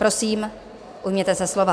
Prosím, ujměte se slova.